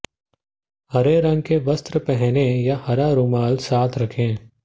हरे रंग के वस्त्र पहनें या हरा रूमाल साथ रखें